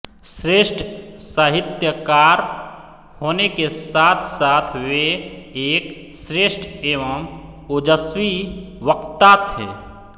श्रेष्ठ साहित्यकार होने के साथसाथ वे एक श्रेष्ठ एवं ओजस्वी वक्ता थे